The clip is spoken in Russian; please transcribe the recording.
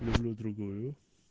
люблю другую